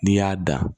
N'i y'a da